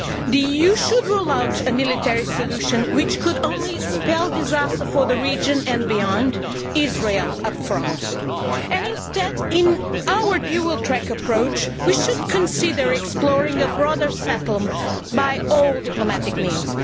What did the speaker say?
The EU should rule out a military solution which can only spell disaster for the region and beyond, notably Israel. Instead, in our dual track approach, we should consider exploring a broader settlement by all diplomatic means.